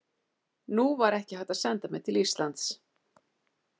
Nú var ekki hægt að senda mig til Íslands.